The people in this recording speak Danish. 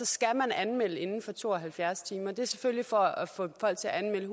skal man anmelde den inden for to og halvfjerds timer og det er selvfølgelig for at få folk til at anmelde